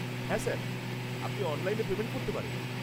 হ্যাঁ স্যার, আপনি অনলাইনে পেমেন্ট করতে পারেন।